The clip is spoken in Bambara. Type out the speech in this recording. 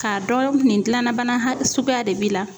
K'a dɔn nin dilanna bana ha suguya de b'i la